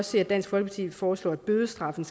se at dansk folkeparti foreslår at bødestraffen